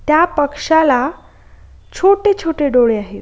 त्या पक्ष्याला छोटे-छोटे डोळे आहेत.